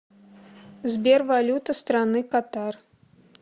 сбер валюта страны катар